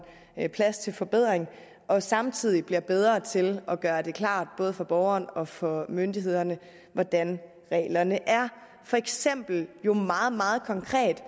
plads til forbedring og samtidig bliver bedre til at gøre det klart både for borgeren og for myndighederne hvordan reglerne er for eksempel meget konkret